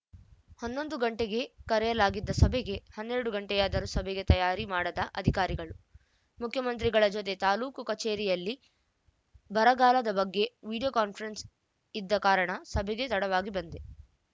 ಹನ್ನೊಂದು ಗಂಟೆಗೆ ಕರೆಯಲಾಗಿದ್ದ ಸಭೆಗೆ ಹನ್ನೆರಡು ಗಂಟೆಯಾದರೂ ಸಭೆಗೆ ತಯಾರಿ ಮಾಡದ ಅಧಿಕಾರಿಗಳು ಮುಖ್ಯಮಂತ್ರಿಗಳ ಜೊತೆ ತಾಲೂಕು ಕಚೇರಿಯಲ್ಲಿ ಬರಗಾಲದ ಬಗ್ಗೆ ವಿಡಿಯೋ ಕಾನ್ಫರೆನ್ಸ್‌ ಇದ್ದ ಕಾರಣ ಸಭೆಗೆ ತಡವಾಗಿ ಬಂದೆ